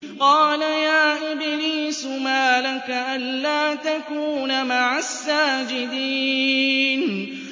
قَالَ يَا إِبْلِيسُ مَا لَكَ أَلَّا تَكُونَ مَعَ السَّاجِدِينَ